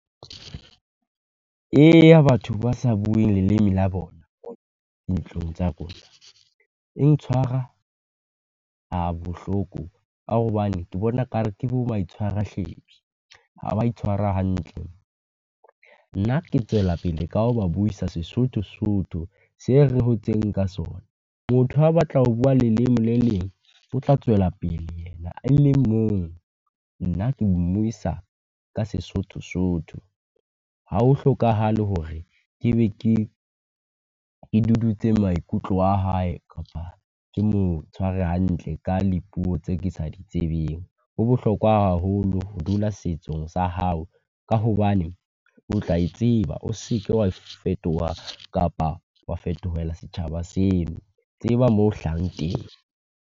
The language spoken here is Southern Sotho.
Eya batho ba sa bueng leleme la bona, dintlong tsa bona, e ntshwara ha bohloko ka hobane ke bona ka re ke bo maitshwaro a hlephi. Ha ba itshwara hantle, nna ke tswela pele ka ho ba buisa Sesotho Sotho se re hotseng ka sona. Motho ha a batla ho bua leleme le leng, o tla tswela pele ena e leng mong. Nna ke mmuisa ka Sesotho Sotho, ha ho hlokahale hore ke be ke, ke dudutse maikutlo a hae kapa ke mo tshware hantle ka le puo tse ke sa di tsebeng. Ho bohlokwa haholo ho dula setsong sa hao, ka hobane o tla e tseba, o seke wa fetoha kapa wa fetohela setjhaba seo. Tseba moo o hlahang teng.